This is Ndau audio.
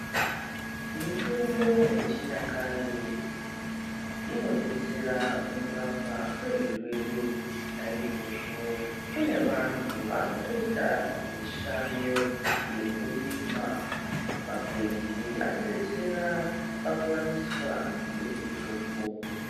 Mitombo yechinyakare inodetsera mukurapwa kwezvirwere naizvozvo kune vantu vakutoita mishando yekurima makwenzi akudetsera pakuwaniswa kwemitombo